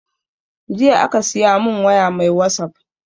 Jiya aka siya mun waya mai wasap